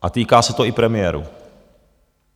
A týká se to i premiérů.